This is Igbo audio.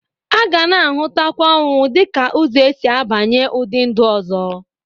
A gana ahụtakwa ọnwụ dịka ụzọ esi abanye ụdị ndu ọzọ.